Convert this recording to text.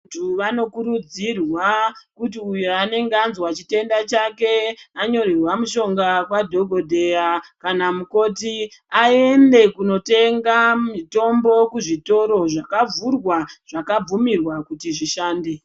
Vantu vano kurudzirwa kuti uyo anenge azwa chi tenda chake anonyorerwa mushonga kwa dhokodheya kana mukoti ayende kuno tenge mitombo ku zvitoro zvaka vhurwa zvaka bvumirwa kuti zvishande.